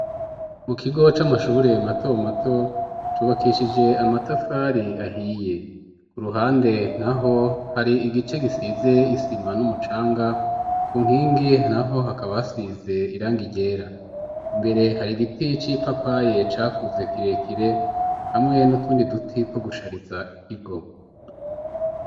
mu kigo c'amashure mato mato cubakishije amatafari ahiye, ku ruhande naho hari igice gisize isima n'umucanga ku nkingi naho hakaba hasize irangi ryera, imbere hari igiti c'ipapaye cakuze kirekire hamwe n'utundi duti two gushariza ikigo.